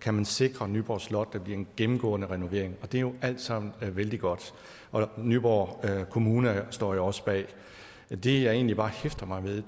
kan man sikre nyborg slot en gennemgående renovering og det er jo alt sammen vældig godt nyborg kommune står jo også bag det jeg egentlig bare hæfter mig ved